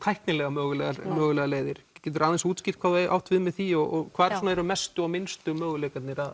tæknilega mögulegar mögulegar leiðir getur þú aðeins útskýrt hvað þú átt við með því og hvar séu mestu og minnstu möguleikarnir á